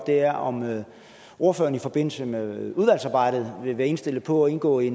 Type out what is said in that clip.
er om ordføreren i forbindelse med udvalgsarbejdet vil være indstillet på at indgå i